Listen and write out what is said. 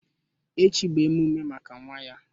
Echi bụ omume maka nwa ya